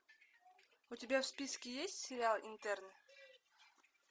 у тебя в списке есть сериал интерны